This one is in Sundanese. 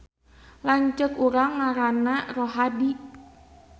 Lanceuk urang ngaranna Rohadi